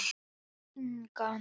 Og engan.